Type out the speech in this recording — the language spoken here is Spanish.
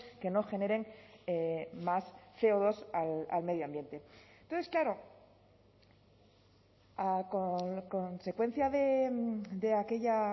que no generen más ce o dos al medio ambiente entonces claro a consecuencia de aquella